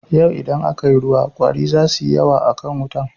Yau idan aka yi ruwa ƙwari za suyi yawa a kwan wutan.